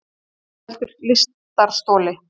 Hvað veldur lystarstoli?